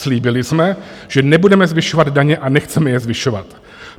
Slíbili jsme, že nebudeme zvyšovat daně a nechceme je zvyšovat.